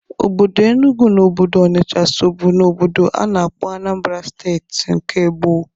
Obodo Enugwu na Obodo Ọnisha sobu n'obodo a na-akpọ Anambra Steeti nke gboo.